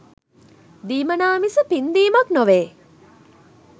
දීමනා මිස පින් දීමක් නොවේ